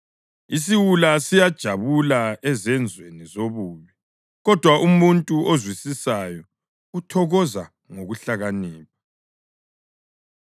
Isiwula siyajabula ezenzweni zobubi, kodwa umuntu ozwisisayo uthokoza ngokuhlakanipha.